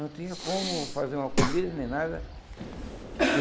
Não tinha como fazer uma comida nem nada.